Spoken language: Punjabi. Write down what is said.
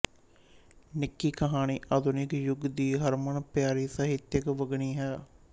ਨਿੱਕੀ ਕਹਾਣੀ ਆਧੁਨਿਕ ਯੁੱਗ ਦੀ ਹਰਮਨ ਪਿਆਰੀ ਸਾਹਿਤਕ ਵੰਨਗੀ ਹੈ